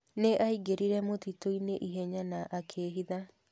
Nĩ aingĩrire mũtitũ-inĩ ihenya na akĩhitha.